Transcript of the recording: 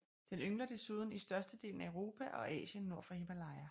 Den yngler desuden i størstedelen af Europa og Asien nord for Himalaya